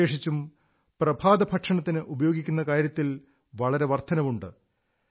വിശേഷിച്ചും പ്രഭാതഭക്ഷണത്തിന് ഉപയോഗിക്കുന്ന കാര്യത്തിൽ വളരെ വർധനവുണ്ട്